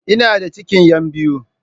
Ina da cikin yan biyu